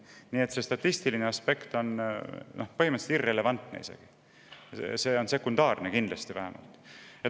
Nii et see statistiline aspekt on põhimõtteliselt irrelevantne või vähemasti sekundaarne.